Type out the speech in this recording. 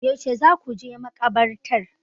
Yaushe za ku je makabartar?